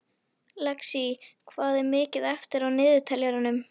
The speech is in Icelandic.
Lexí, hvað er mikið eftir af niðurteljaranum?